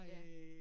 Ja